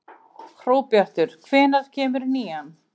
Hróbjartur, hvenær kemur nían?